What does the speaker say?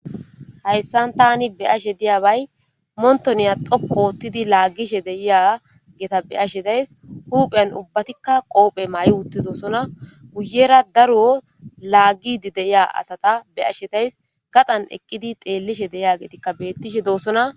Hayssan tani be ashe diya bay montoniya doqo oottidi laaggishe deiya geeta be ashe days huupheyn ubbatikka qoophe maa7i uttidosona guyera daruyo laagidi deiya asata be ashe days gaxan eqqidi xeellishe deiya geetikka beettishe doossona